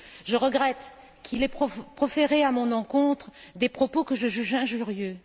Je regrette qu'il ait proféré, à mon encontre, des propos que je juge injurieux.